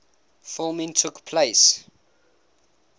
filming took place